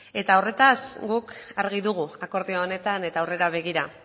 eta horretaz guk argi dugu akordio honetan eta aurrera begira